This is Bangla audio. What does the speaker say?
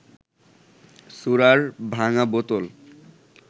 সুরার ভাঙা বোতল